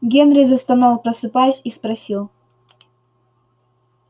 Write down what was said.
генри застонал просыпаясь и спросил